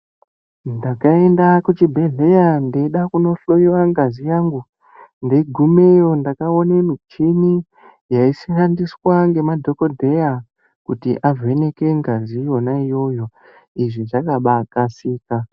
Ndakaenda kuchibhedhlera ndeida kunohloiwa ngazi yangu ndeigumeyo ndakaone michini yaishandiswa ngemadhogodheya kuti avheneke ngazi yona iyoyo, izvi zvakabaakasika.